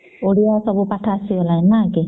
ଓଡ଼ିଆ ସବୁ ପାଠ ଆସିଗଲାଣି ନ କି